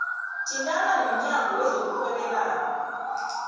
thintana nomnyango wezokurhwebelana